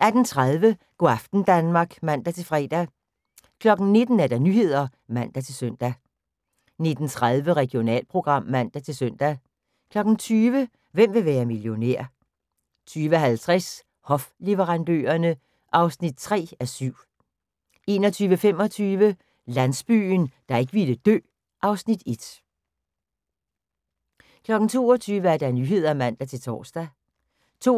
18:30: Go' aften Danmark (man-fre) 19:00: Nyhederne (man-søn) 19:30: Regionalprogram (man-søn) 20:00: Hvem vil være millionær? 20:50: Hofleverandørerne (3:7) 21:25: Landsbyen, der ikke ville dø (Afs. 1) 22:00: Nyhederne (man-tor) 22:27: